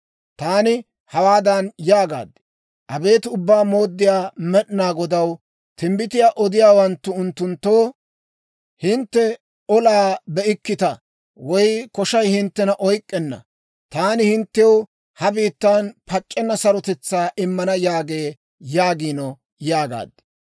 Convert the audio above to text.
Taani hawaadan yaagaad; «Abeet Ubbaa Mooddiyaa Med'inaa Godaw, timbbitiyaa odiyaawanttu unttunttoo, ‹Hintte olaa be'ikkita woy koshay hinttena oyk'k'enna. Taani hinttew ha biittan pac'c'enna sarotetsaa immana› yaagee yaagiino» yaagaad.